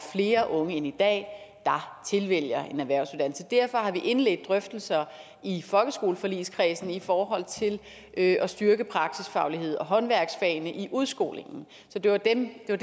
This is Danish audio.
flere unge end i dag der tilvælger en erhvervsuddannelse derfor har vi indledt drøftelser i folkeskoleforligskredsen i forhold til at styrke praksisfaglighed og håndværksfagene i udskolingen så det var det jeg